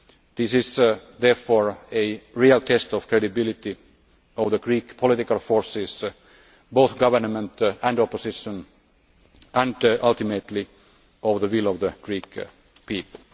This is, therefore, a real test of the credibility of the Greek political forces, both government and opposition, and ultimately, of the will of the Greek people.